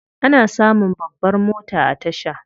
Ana samun babbar mota a tasha.